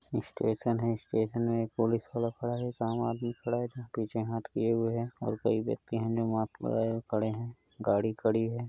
Station है station में police वाला खड़ा है एक आम आदमी खड़ा है पीछे हाथ किये हुए है कोई व्यक्ति मास्क लगाये हुए खड़ा है गाड़ी खड़ी है।